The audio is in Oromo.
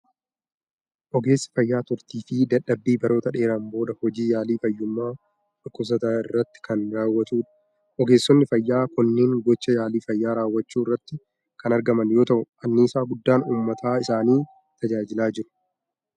Ogeessi fayyaa turtii fi dadhabbii baroota dheeraan booda hojii yaalii fayyummaa dhukkubsataa irratti kan raawwatudha. Ogeessonni fayyaa kunneen gochaa yaalii fayyaa raawwachuu irratti kan argaman yoo ta'u, anniisaa guddaan uummata isaanii tajaajilaa jiru.